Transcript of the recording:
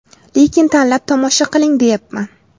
Lekin tanlab tomosha qiling deyapman.